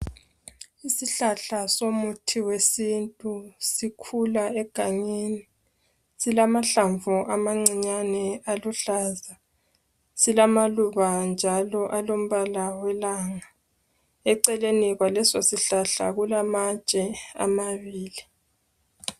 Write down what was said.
isihlahla somuthi wesintu sikhula egangeni silamahlamvu amancinyane aluhlaza silamaluba njalo alombalo welanga eceleni kwaleso sihlahla kulamatshe amabili